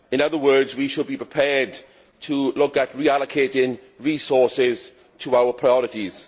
In other words, we should be prepared to look at reallocating resources to our priorities.